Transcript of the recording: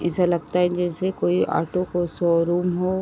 ऐसा लगता है जैसे कोई आटो को शोरूम हो।